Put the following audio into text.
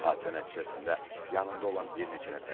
Hadisə nəticəsində yanında olan bir neçə nəfər həlak olub.